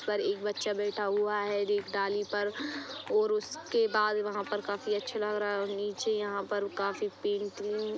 पर एक बच्चा बैठा हुआ है ये डाली पर और उसके बाल वहां पर काफी अच्छे लग रहा हैं और नीचे यहां पर काफी पेंटिंग --